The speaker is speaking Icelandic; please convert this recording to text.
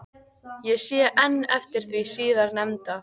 Ég sé enn eftir því síðar nefnda.